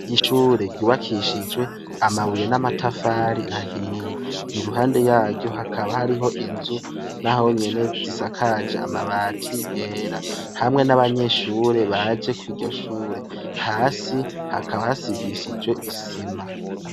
Ishure ryubakishijwe amabuye n'amatafari ahiye iruhande yaryo hakaba hariho inzu n'ahonyene zisakaje amabati yera, hamwe n'abanyeshure baje kuri ryo shure hasi hakaba hasigishijwe isima.